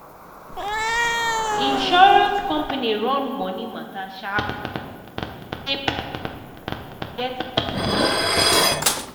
insurance company run money matter sharp sharp so say people go get benefit on time.